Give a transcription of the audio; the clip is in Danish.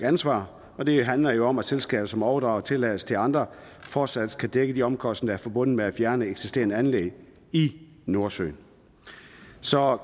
ansvar og det handler jo om at selskaber som overdrager tilladelser til andre fortsat skal dække de omkostninger forbundet med at fjerne eksisterende anlæg i nordsøen så